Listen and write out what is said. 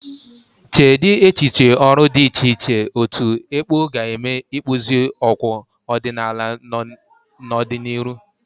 Cheedị echiche ọrụ dị iche iche otu ekpo ga eme ikpụzi okwu ọdịnala n'ọdịnihu.